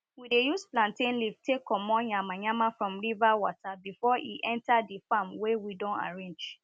we dey use plantain leave take comot yamayama from river water before e enter di farm wey we don arrange